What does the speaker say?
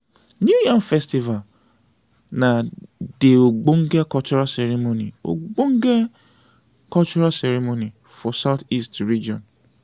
new yam festival na dey ogbenge cultral ceremony ogbenge cultral ceremony for southeast region.